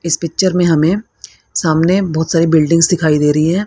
इस पिक्चर में हमें सामने बहुत सारी बिल्डिंग्स दिखाई दे रही है।